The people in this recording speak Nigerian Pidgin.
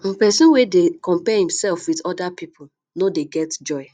um pesin wey dey compare imsef wit oda pipo no dey get joy